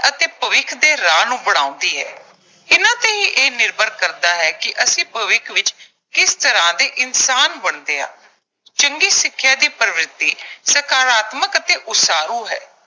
ਅਤੇ ਭਵਿੱਖ ਦੇ ਰਾਹ ਨੂੰ ਬਣਾਉਂਦੀ ਐ। ਇਨ੍ਹਾਂ ਤੇ ਹੀ ਇਹ ਨਿਰਭਰ ਕਰਦਾ ਹੈ ਕਿ ਅਸੀਂ ਭਵਿੱਖ ਵਿੱਚ ਕਿਸ ਤਰ੍ਹਾਂ ਦੇ ਇਨਸਾਨ ਬਣਦੇ ਆਂ। ਚੰਗੀ ਸਿੱਖਿਆ ਦੀ ਪ੍ਰਵਿਰਤੀ ਸਕਾਰਾਤਮਕ ਅਤੇ ਉਸਾਰੂ ਹੈ।